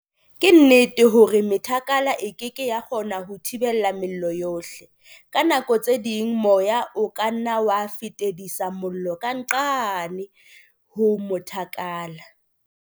Ke nnete hore methakala e ke ke ya kgona ho thibela mello yohle. Ka nako tse ding moya o ka nna wa fetisetsa mollo ka nqane ho mothakala.